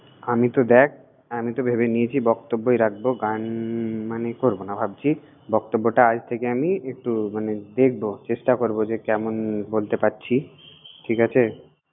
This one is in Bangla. আমি তো দ্যাখ, আমি তো ভেবে নিয়েছি বক্তব্যই রাখবো, গান মানে করব না ভাবছি। বক্তব্যটা আজ থেকে আমি একটু মানে দেখব, চেষ্টা করব যে কেমন বলতে পারছি, ঠিক আছে।